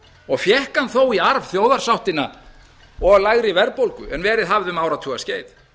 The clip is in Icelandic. og fékk hann þó í arf þjóðarsáttina og lægri verðbólgu en verið hafði um áratugaskeið